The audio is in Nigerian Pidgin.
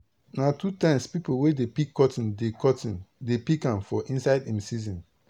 na two times people wey dey pick cotton dey cotton dey pick am for inside im season